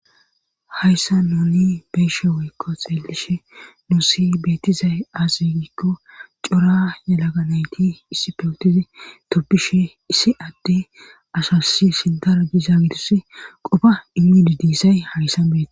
hayssa nuni beeshe woykko xeelishe nu si beetizay azegikko cora yalaga nayti issi pewotizi toppishe issi adde ashasi sindaro giza gidis qofa imidi diisay hagissan beee